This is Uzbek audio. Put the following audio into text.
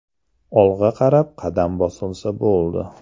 Olg‘a qarab qadam bosilsa bo‘ldi.